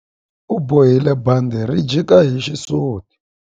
U bohile bandhi ri jika hi xisuti.